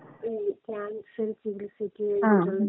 ഉം ക്യാൻസർ ചികിത്സയ്ക്ക്.